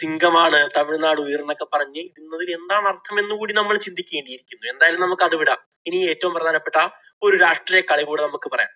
സിങ്കമാണ്, തമിഴ് നാട് ഉയിര്‍ എന്നൊക്കെ പറഞ്ഞ~തിലെന്താണ് അര്‍ത്ഥമെന്നു കൂടി നമ്മള് ചിന്തിക്കേണ്ടിയിരിക്കുന്നു. എന്തായാലും നമുക്ക് അത് വിടാം. ഇനി ഏറ്റവും പ്രധാനപ്പെട്ട ഒരു രാഷ്ട്രീയ കളികൂടി നമുക്ക് പറയാം.